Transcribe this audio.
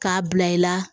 K'a bila i la